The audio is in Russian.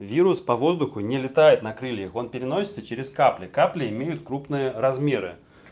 вирус по воздуху не летает на крыльях он переносится через капли капли имеют крупные размеры